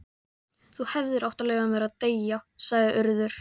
Þú hefðir átt að leyfa mér að deyja sagði Urður.